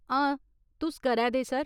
हां तुस करै दे, सर।